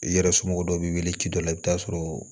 I yɛrɛ somɔgɔw b'i wele ci dɔ la i bɛ taa sɔrɔ